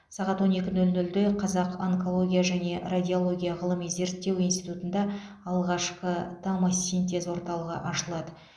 сағат он екі нөл нөлде қазақ онкология және радиология ғылыми зерттеу институтында алғашқы томосинтез орталығы ашылады